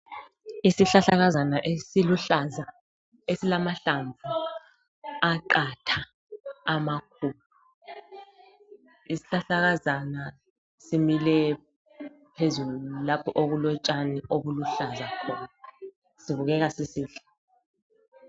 Isihlahlakazana esiluhlaza esilamahlamvu aqatha amakhulu. Isihlahlakazana simile phezulu lapho okulotshani obuluhlaza khona, sibukeka sisihle.